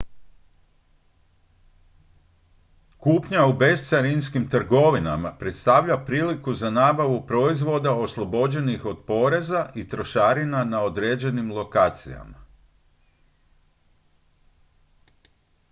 kupnja u bescarinskim trgovinama predstavlja priliku za nabavu proizvoda oslobođenih od poreza i trošarina na određenim lokacijama